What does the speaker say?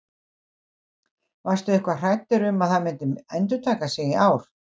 Varstu eitthvað hræddur um að það myndi endurtaka sig í ár?